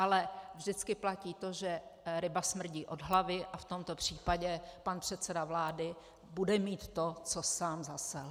Ale vždycky platí to, že ryba smrdí od hlavy, a v tomto případě pan předseda vlády bude mít to, co sám zasel.